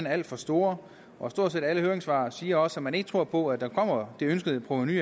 alt for store og stort set alle høringssvar siger også at man ikke tror på at der kommer det ønskede provenu